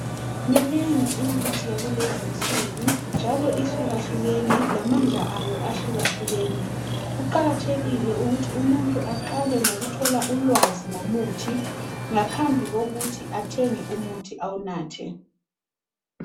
Miningi imithi yakulezinsuku njalo ihlukahlukene lamandla ayo ahlukahlukene kuqakathekile ukuthi umuntu aqale ngokuthole ulwazi ngomuthi ngaphambi kokuthi athenge umuthi awunathe.